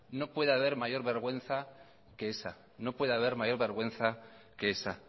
no puede haber mayor vergüenza que esa